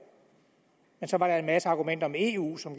men så var der en masse argumenter om eu som